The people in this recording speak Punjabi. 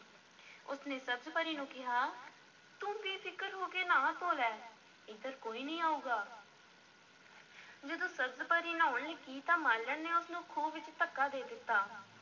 ਉਸ ਨੇ ਸਬਜ਼-ਪਰੀ ਨੂੰ ਕਿਹਾ, ਤੂੰ ਬੇਫ਼ਿਕਰ ਹੋ ਕੇ ਨ੍ਹਾ-ਧੋ ਲੈ, ਇੱਧਰ ਕੋਈ ਨਹੀਂ ਆਊਗਾ ਜਦੋਂ ਸਬਜ਼-ਪਰੀ ਨ੍ਹਾਉਣ ਲੱਗੀ ਤਾਂ ਮਾਲਣ ਨੇ ਉਸ ਨੂੰ ਖੂਹ ਵਿੱਚ ਧੱਕਾ ਦੇ ਦਿੱਤਾ।